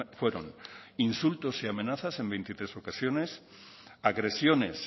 fueron insultos y amenazas en veintitrés ocasiones agresiones